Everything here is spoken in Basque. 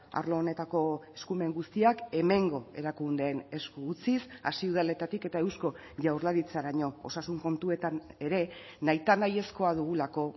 arlo honetako eskumen guztiak hemengo erakundeen esku utziz hasi udaletatik eta eusko jaurlaritzaraino osasun kontuetan ere nahita nahiezkoa dugulako